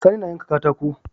Sani na yanka katako